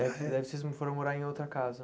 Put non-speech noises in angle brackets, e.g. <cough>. Daí daí vocês <unintelligible> foram morar em outra casa.